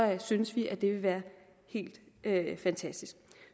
synes vi at det vil være helt fantastisk